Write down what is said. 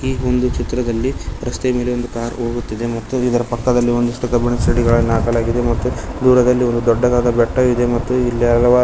ಈ ಒಂದು ಚಿತ್ರದಲ್ಲಿ ರಸ್ತೆಯ ಮೇಲೆ ಒಂದು ಕಾರ್ ಹೋಗುತ್ತಿದೆ ಮತ್ತು ಇದರ ಪಕ್ಕದಲ್ಲಿ ಒಂದಿಷ್ಟು ಕಬ್ಬಿನದ ಸಿಡಿಗಳನ್ನ ಹಾಕಲಾಗಿದೆ ಮತ್ತು ದೂರದಲ್ಲಿ ಒಂದು ದೊಡ್ಡದಾದ ಬೆಟ್ಟ ಇದೆ ಮತ್ತು ಇಲ್ಲಿ ಹಲವಾರ್ --